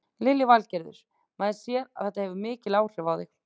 Lillý Valgerður: Maður sér að þetta hefur mikil áhrif á þig?